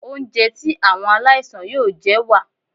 Oúnjẹ tí àwọn aláìsàn yóò jẹ wà.